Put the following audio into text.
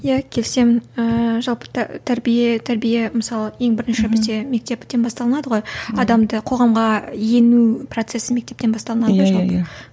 иә келісемін ыыы жалпы тәрбие тәрбие мысалы ең бірінші бізде мектептен басталынады ғой адамды қоғамға ену процесі мектептен басталынады ғой жалпы